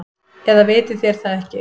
Eða vitið þér það ekki.